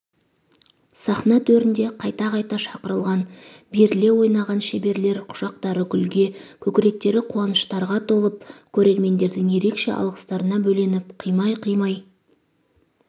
сахна төрінде қайта-қайта шақырылған беріле ойнаған шеберлер құшақтары гүлге көкіректері қуаныштарға толып көрермендердің ерекше алғыстарына бөленіп қимай-қимай